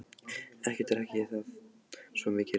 Ekki drekk ég það, svo mikið er víst.